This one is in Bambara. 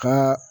Ko